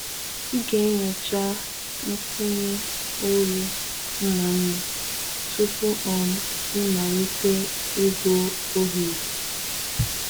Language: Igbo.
Ị ga-enyocha nkwụnye olu mma mma tupu um ịmalite igwu oghere.